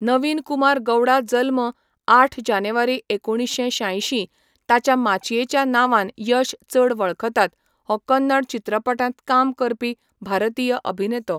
नवीन कुमार गौडा जल्म, आठ जानेवारी एकुणीश्शें शांयशीं, ताच्या माचयेच्या नांवान यश चड वळखतात, हो कन्नड चित्रपटांत काम करपी भारतीय अभिनेतो.